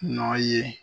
Nɔ ye